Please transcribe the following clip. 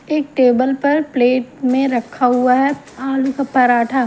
एक टेबल पर प्लेट में रखा हुआ है आलू का पराठा।